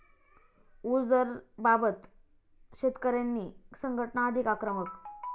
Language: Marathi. ऊस दराबाबत शेतकरी संघटना अधिक आक्रमक